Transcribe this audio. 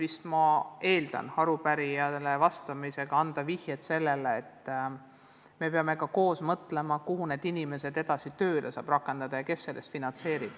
Aga ma eeldan, et arupärimisega on tahetud viidata sellele, et me peame koos mõtlema, kuidas saaks viipekeeletõlke paremini tööle rakendada ja kes seda tööd finantseerib.